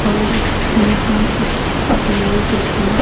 और यहां कुछ लोग भी--